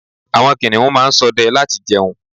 Àwọn kìnìún máa ń sọdẹ láti jẹun